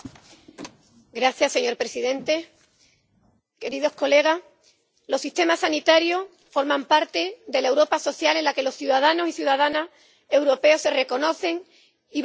Señor presidente, queridos colegas, los sistemas sanitarios forman parte de la Europa social en la que los ciudadanos y las ciudadanas europeos se reconocen y que valoran especialmente